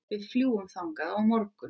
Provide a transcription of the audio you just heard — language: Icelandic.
Við fljúgum þangað á morgun.